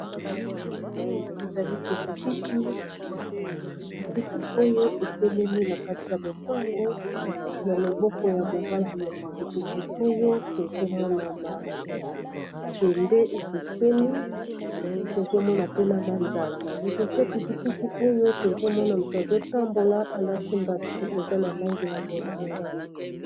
awa ezali pikipiki oyo etelemi na kati ya lopango na loboko ya mobali ya pikipiki oyo tozomona mabende ekeseni tozomona pena manzanza liboso ya pikipiki oyo tozomona moto azotambola alati mbati eza na langela bonzinga